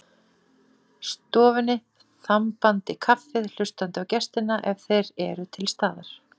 Ef ég á hinn bóginn gekk lengra var ég afskaplega óréttlát.